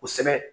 Kosɛbɛ